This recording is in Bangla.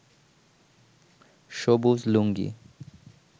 সবুজ লুঙ্গি